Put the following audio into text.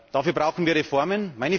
Dafür brauchen wir Reformen.